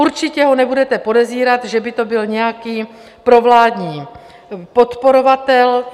Určitě ho nebudete podezírat, že by to byl nějaký provládní podporovatel.